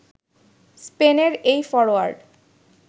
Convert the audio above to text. স্পেনের এই ফরোয়ার্ড